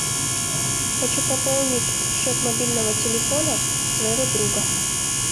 хочу пополнить счет мобильного телефона своего друга